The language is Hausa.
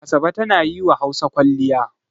Asabe tana yi wa Hausa kwalliya.